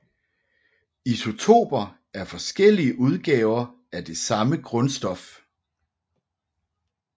Isotoper er forskellige udgaver af det samme grundstof